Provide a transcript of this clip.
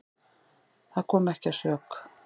Það kom ekki að sök.